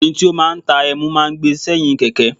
Ọkùnrin tí ó máa ń ta ẹmu máa ń gbé e sẹ́yìn Kẹ̀kẹ́.